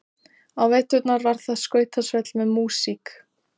Á veturna var þar skautasvell með músík.